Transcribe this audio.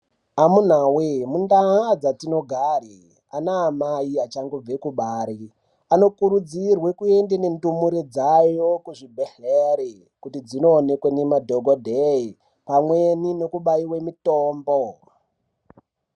Amuna voye mundaa dzatinogare anaamai achangobve kubare anokurudzirwe kuende nendumure dzayo kuchibhedhlere. Kuti dzinoonekwe nemadhogodheye pamweni nekubaive mitombo.